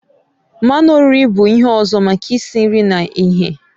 Mmanụ oriri bụ ihe ọzọ maka isi nri na ighe.